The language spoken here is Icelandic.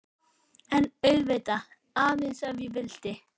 En auðvitað,- aðeins ef ég vildi.